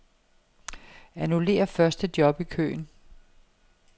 Annullér første job i køen.